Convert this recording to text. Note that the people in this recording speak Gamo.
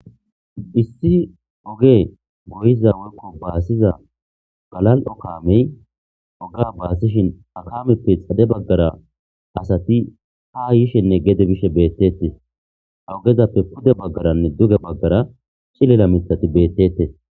issi oge goyiza wolkko baasiza galal7o kaamey oga baasishin akameppe xade baggara asati ha yishenne gede bishe beettete hogezappe pude baggaranne duge baggara chilela mitati beettete